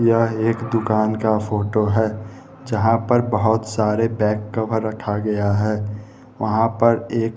यह एक दुकान का फोटो है जहां पर बहुत सारे बैक कवर रखा गया है वहां पर एक--